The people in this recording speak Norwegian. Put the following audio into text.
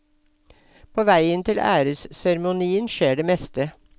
På veien til æresseremonien skjer det meste.